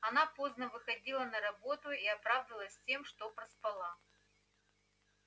она поздно выходила на работу и оправдывалась тем что проспала